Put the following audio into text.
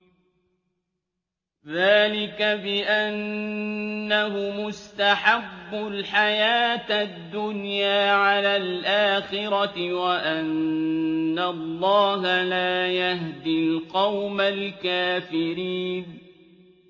ذَٰلِكَ بِأَنَّهُمُ اسْتَحَبُّوا الْحَيَاةَ الدُّنْيَا عَلَى الْآخِرَةِ وَأَنَّ اللَّهَ لَا يَهْدِي الْقَوْمَ الْكَافِرِينَ